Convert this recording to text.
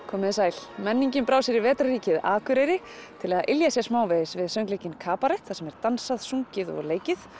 komið þið sæl menningin brá sér í Akureyri til að ylja sér smávegis við söngleikinn kabarett þar sem er dansað sungið og leikið